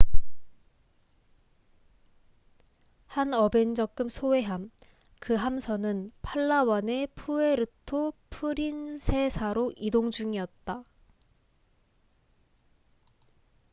한 어벤저급 소해함 그 함선은 팔라완의 푸에르토 프린세사로 이동 중이었다